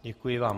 Děkuji vám.